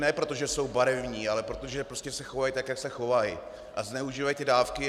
Ne proto, že jsou barevní, ale protože prostě se chovají tak, jak se chovají, a zneužívají dávky.